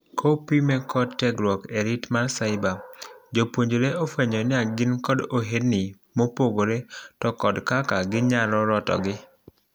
kopime kod tiegruok e rit mar ciber, jopuonjre ofuenyo ni ngin kod ohendni mopogre to kod kaka ginyalo rotogi